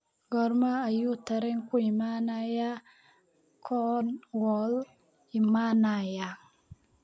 Goorma ayuu tareenku imanayaa Cornwall imanayaa?